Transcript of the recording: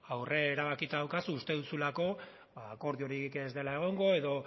aurre erabakita daukazu uste duzulako akordiorik ez dela egongo edo